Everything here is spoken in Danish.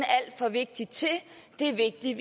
er alt for vigtig til det at det er vigtigt